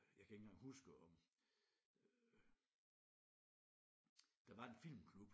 Jeg kan ikke engang huske om øh der var en filmklub